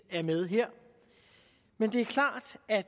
er med her men det er klart at